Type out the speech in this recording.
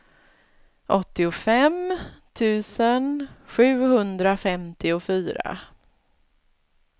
åttiofem tusen sjuhundrafemtiofyra